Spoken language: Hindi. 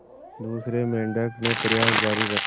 दूसरे मेंढक ने प्रयास जारी रखा